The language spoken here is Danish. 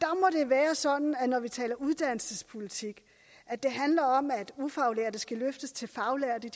være sådan at når vi taler uddannelsespolitik handler det om at ufaglærte skal løftes til faglærtes